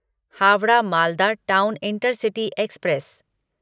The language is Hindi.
Howrah Malda town intercity express